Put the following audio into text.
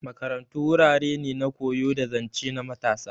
Makarantu wurare ne na koyo da zance na matasa.